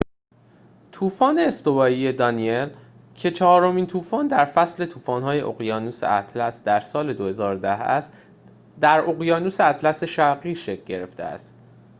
طوفان استوایی دانیل که چهارمین طوفان در فصل طوفان‌های اقیانوس اطلس در سال ۲۰۱۰ است در اقیانوس اطلس شرقی شکل گرفته است